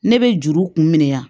Ne bɛ juru kun minɛ yan